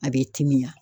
A bɛ timiya